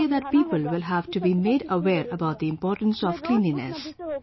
I want to say that people will have to be made aware about the importance of cleanliness